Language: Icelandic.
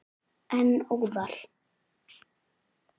En óðal.